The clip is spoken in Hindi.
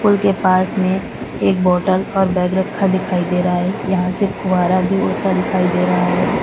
पूल के पास में एक बॉटल और बैग रखा दिखाई दे रहा है यहां से फुहारा भी उड़ता दिखाई दे रहा है।